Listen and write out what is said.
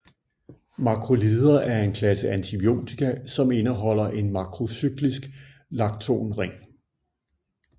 Makrolider er en klasse antibiotika som indeholder en makrocyklisk lactonring